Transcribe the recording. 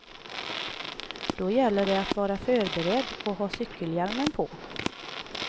Då gäller det att vara förberedd och ha cykelhjälmen på.